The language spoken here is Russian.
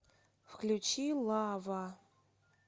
включи лава